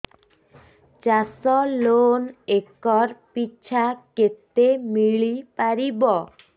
ଚାଷ loan acre ପିଛା କେତେ ମିଳି ପାରିବ